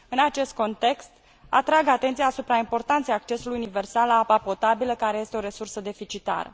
În acest context, atrag atenția asupra importanței accesului universal la apa potabilă, care este o resursă deficitară.